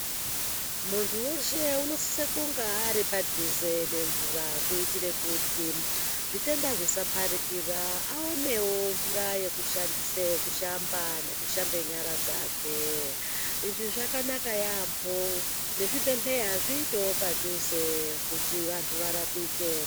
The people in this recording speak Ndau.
Mundu weshe unosise kunge ari padhuze nemvura kuitire kuti zvitenda zvisapakira awonewo mvura yekushandisa kushamba nekushambewo nyara dzake izvi zvakanaka yaambo nezvibhedhleya zviitewo padhuze kuti vandu varapike.